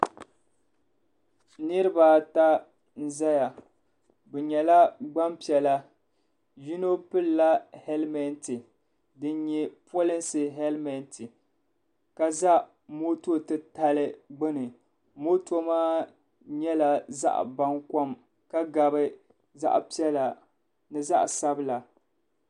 Niriba ata n zaya bi yɛla gbaŋ piɛla yino pilila hɛlimenti dini yɛ polinsi hɛlimenti ka za moto titali gbuni moto maa yɛla zaɣi baŋkom ka gabi zaɣi piɛla ni zaɣi sabila sabila.